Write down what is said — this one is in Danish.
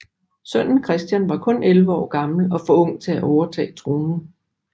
Sønnen Christian var kun 11 år gammel og for ung til at overtage tronen